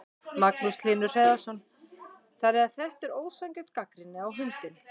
Magnús Hlynur Hreiðarsson: Þannig að þetta er ósanngjörn gagnrýni á hundinn?